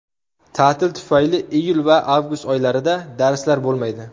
Ta’til tufayli iyul va avgust oylarida darslar bo‘lmaydi.